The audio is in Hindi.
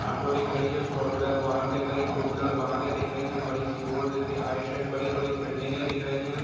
ऑटो दिख रही है फॉर व्हीलर वाहन दिख रही है टू व्हीलर वाहनें दिख रही है बड़ी-सी रोड दिख रही है आई सेड बड़ी-बड़ी बिल्डिंगे दिख रही हैं।